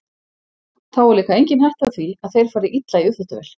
Þá er líka engin hætta á því að þeir fari illa í uppþvottavél.